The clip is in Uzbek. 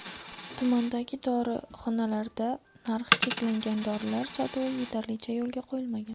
Tumandagi dorixonalarda narxi cheklangan dorilar sotuvi yetarlicha yo‘lga qo‘yilmagan.